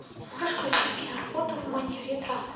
можешь включить киноработу в манере драма